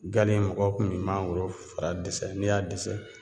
Gale mɔgɔw kun bi mangoro fara dɛsɛ n'i y'a dɛsɛ